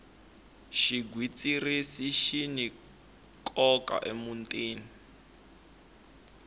xigwitsirisi xini nkoka emutini